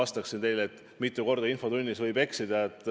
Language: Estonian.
Kas ma pean teile vastama, mitu korda infotunnis võib eksida?